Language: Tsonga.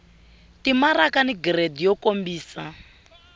timaraka ni giridi yo kombisa